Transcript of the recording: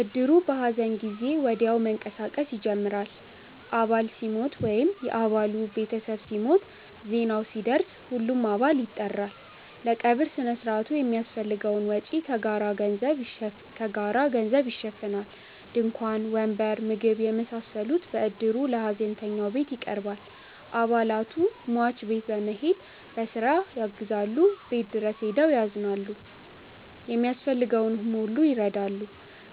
እድሩ በሐዘን ጊዜ ወዲያው መንቀሳቀስ ይጀምራል። አባል ሲሞት ወይም የ አባሉ ቤተሰብ ሲሞት፣ ዜናው ሲደርስ ሁሉም አባል ይጠራል። ለቀብር ሥነ ሥርዓቱ የሚያስፈልገውን ወጪ ከጋራ ገንዘብ ይሸፈናል። ድንኳን፣ ወንበር፣ ምግብ የመሳሰሉት በእድሩ ለሀዘንተኛው ቤት ይቀርባል። አባላቱ ሟች ቤት በመሄድ በስራ ያግዛሉ፣ ቤቱ ድረስ ሄደው ያዝናሉ፣ የሚያስፈልገውን ሁሉ ይረዳሉ።